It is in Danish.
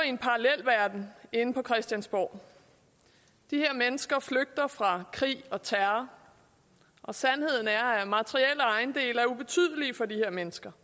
en parallelverden inde på christiansborg de her mennesker flygter fra krig og terror sandheden er at materielle ejendele er ubetydelige for de her mennesker